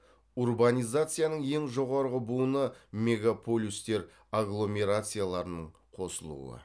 урбанизацияның ең жоғарғы буыны мегаполюстер агломерацияларының қосылуы